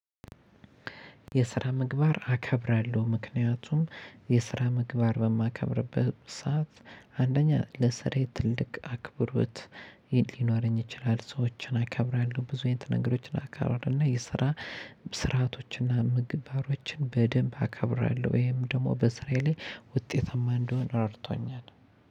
የስራ ምግባር አከብራለሁ ምክንያቱም የስራ ምግባር በማከብርበት ሰዓት አንደኛ ለስራዬ ትልቅ አክብሮት ሊኖረኝ ይችላል። ሰዎችን አከብራለሁ ብዙ አይነት ነገሮችን አከብራለሁ እና የስራ ስርዓቶችን እና ምግብ ባሮችን በደንብ አከብራለሁ ወይም ደግሞ በስራዬ ላይ ውጤታማ እንድሆነ እረድቶኛል።